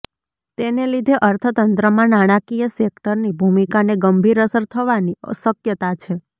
તેને લીધે અર્થતંત્રમાં નાણાકીય સેક્ટરની ભૂમિકાને ગંભીર અસર થવાની શક્યતા છે